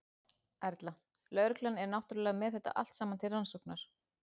Erla: Lögreglan er náttúrulega með þetta allt saman til rannsóknar núna?